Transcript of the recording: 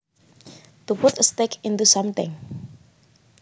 To put a stake into something